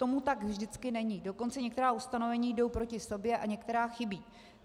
Tomu tak vždycky není, dokonce některá ustanovení jdou proti sobě a některá chybí.